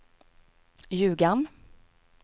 Ljugarn